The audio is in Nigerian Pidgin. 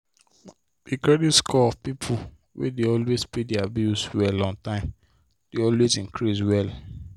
the credit score of people wey dey always pay their bill well on time dey always increase well.